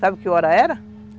Sabe que hora era?